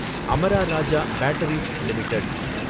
Amara Raja batteries limited